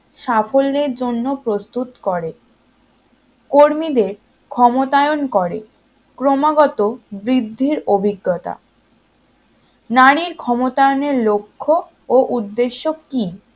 সাফল্যের জন্য প্রস্তুত করে কর্মীদের ক্ষমতায়ন করে ক্রমাগত বৃদ্ধির অভিজ্ঞতা নারীর ক্ষমতায়নের লক্ষ্য ও উদ্দেশ্য কি